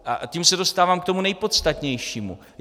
A tím se dostávám k tomu nejpodstatnějšímu.